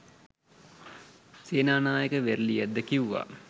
සේනානායක වේරලියද්ද කිව්වා